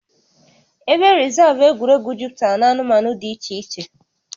Ebe rịzaavụ egwuregwu juputara na anụmanụ dị iche iche